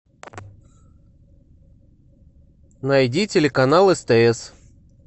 найди телеканал стс